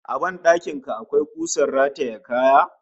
A ban dakin ka akwai kusar rataye kaya?